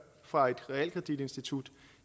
fra et realkreditinstitut